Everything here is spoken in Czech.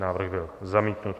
Návrh byl zamítnut.